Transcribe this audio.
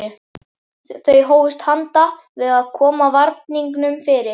Þau hófust handa við að koma varningnum fyrir.